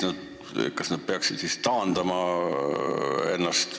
Kas nad peaksid siis ennast taandama?